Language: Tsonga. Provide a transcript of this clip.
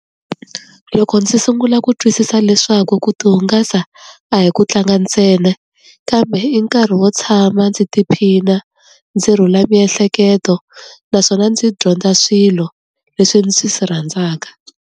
Loko ndzi sungula ku twisisa leswaku ku tihungasa a hi ku tlanga ntsena, kambe i nkarhi wo tshama ndzi tiphina, ndzi rhula miehleketo. Naswona ndzi dyondza swilo leswi ndzi swi rhandzaka.